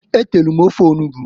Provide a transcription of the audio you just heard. E telu m ofe onugbu.